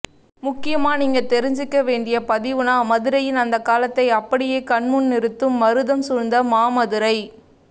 முக்கியமா நீங்க தெரிஞ்சுக்க வேண்டிய பதிவுன்னா மதுரையின் அந்தகாலத்தை அப்படியே கண்முன் நிறுத்தும் மருதம் சூழ்ந்த மாமதுரை